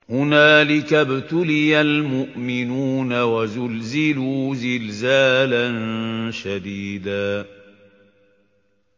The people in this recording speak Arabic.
هُنَالِكَ ابْتُلِيَ الْمُؤْمِنُونَ وَزُلْزِلُوا زِلْزَالًا شَدِيدًا